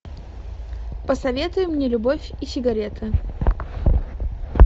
посоветуй мне любовь и сигареты